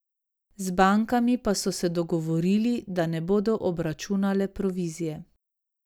Z bankami pa so se dogovorili, da ne bodo obračunale provizije.